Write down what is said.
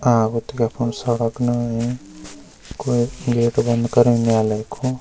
अ उतगा फुण्ड सड़क ना है कुई गेट बंद करयुँ न्यायलय कु।